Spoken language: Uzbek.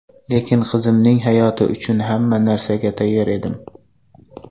Lekin qizimning hayoti uchun hamma narsaga tayyor edim.